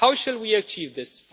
How should we achieve this?